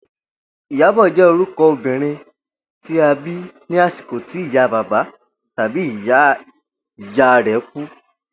Ìyábò̩ jé̩ oruko o̩mo̩bìnrin tí a bí ní àsìkò tí ìyá bàbá tàbí ìyá ìyá rè̩ kú